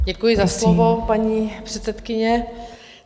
Děkuji za slovo, paní předsedkyně.